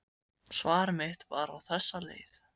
Svar mitt var á þessa leið